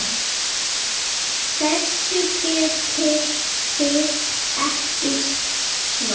Þessu getið þið ekki svarað!